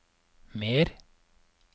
mer